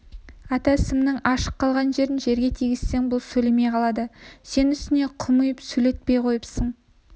ата сымның ашық қалған жерін жерге тигізсең бұл сөйлемей қалады сен үстіне құм үйіп сөйлетпей қойыпсың